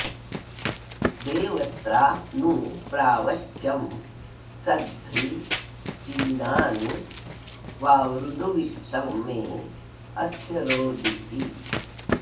देवत्रा नु प्रावच्यं सध्री चीनानि वावृदुवित्तं मे अस्य रोदिसी